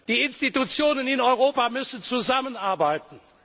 Die Institutionen in Europa müssen zusammenarbeiten.